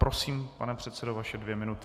Prosím, pane předsedo, vaše dvě minuty.